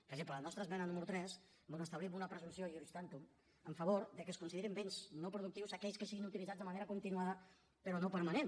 per exemple la nostra esmena número tres on establim una presumpció iuris tantum en favor de que es considerin béns no productius aquells que siguin utilitzats de manera continuada però no permanent